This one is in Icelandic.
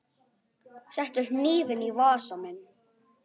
Settu hnífinn í vasa minn.